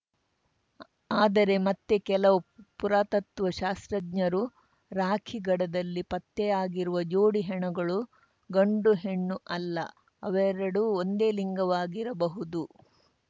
ಆದರೆ ಮತ್ತೆ ಕೆಲವು ಪುರಾತತ್ವ ಶಾಸ್ತ್ರಜ್ಞರು ರಾಖಿಗಢದಲ್ಲಿ ಪತ್ತೆಯಾಗಿರುವ ಜೋಡಿ ಹೆಣಗಳು ಗಂಡುಹೆಣ್ಣು ಅಲ್ಲ ಅವೆರಡೂ ಒಂದೇ ಲಿಂಗವಾಗಿರಬಹುದು